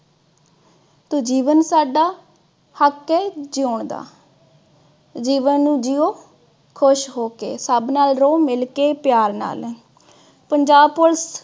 ਤੇ ਜੀਵਨ ਸਾਡਾ ਹੱਕ ਏ ਜਿਓਣ ਦਾ, ਜੀਵਨ ਨੂੰ ਜਿਓਂ ਖੁਸ਼ ਹੋ ਕੇ, ਸਭ ਨਾਲ ਰਹੋ ਮਿਲ ਕੇ ਪਿਆਰ ਨਾਲ। ਪੰਜਾਬ police